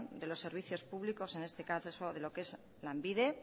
de los servicios públicos en este caso de lo que es lanbide